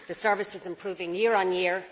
The service is improving year on year.